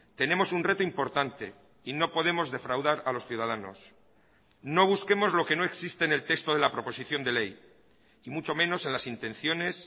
tenemos un reto importante y no podemos defraudar a los ciudadanos no busquemos lo que no existe en el texto de la proposición de ley y mucho menos en las intenciones